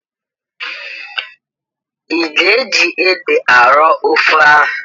I ga-eji ede arọ ofe ahụ?